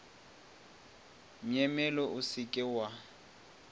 myemyelo o se ke wa